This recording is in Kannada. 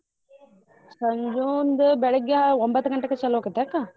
ಸಂಜೂಂದೂ ಬೆಳಗ್ಗೆ ಒಂಬತ್ ಗಂಟೆಕ ಚಲುವಾಕತ ಅಕ್ಕ.